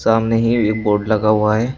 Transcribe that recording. सामने ही एक बोर्ड लगा हुआ है।